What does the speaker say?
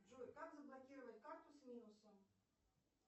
джой как заблокировать карту с минусом